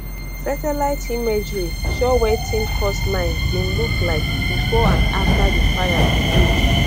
satellite imagery show wetin coastline bin look like bifor and afta di fires bin hold